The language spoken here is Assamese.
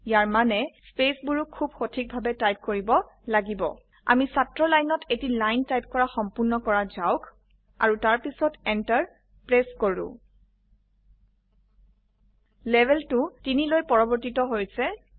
ইয়াৰ মানে স্পেছ বোৰো খুব সঠিকভাবে টাইপ কৰিব লাগিব আমি ছাত্ৰৰ লাইনত এটি লাইন টাইপ কৰা সম্পূৰ্ণ কৰা যাওক আৰু তাৰপিছতEnter প্ৰেছ কৰো লেভেল টো 3 লৈ পৰিবৰ্তিত হৈছে160